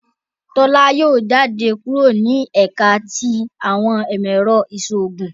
Tola Yóò jáde kúrò ni ẹka ti awọn imọ-ẹrọ iṣoogun.